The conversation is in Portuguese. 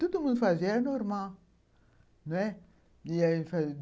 Todo mundo fazia, era normal, não é?